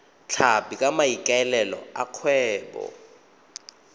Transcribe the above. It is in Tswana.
tlhapi ka maikaelelo a kgwebo